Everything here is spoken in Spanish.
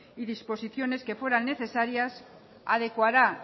y disposiciones que fueran necesarias adecuará